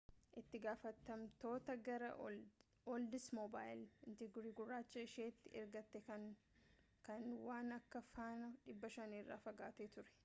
itti gaafatamtoota gara oldsmobile intrigue gurraacha isheeti ergite kan waan akka faana 500 irraa fagaate ture